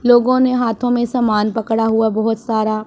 लोगो ने हाथों में समान पकड़ा हुआ बहोत सारा--